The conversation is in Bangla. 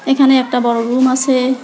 এখানে একটা বড় রুম আসে।